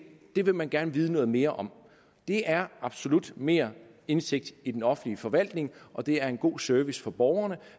det vil man gerne vide noget mere om det er absolut mere indsigt i den offentlige forvaltning og det er en god service for borgerne